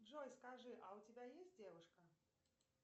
джой скажи а у тебя есть девушка